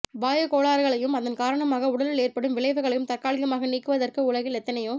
வாயுக் கோளாறுகளையும் அதன் காரணமாக உடலில் ஏற்படும் விளைவுகளையும் தற்காலிகமாக நீக்குவதற்கு உலகில் எத்தனையோ